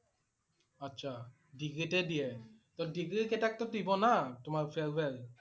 আচ্ছা। ডিগ্ৰীতে দিয়ে । toh ডিগ্ৰী কেইটাক টো দিব লাগে না তোমাৰ farewell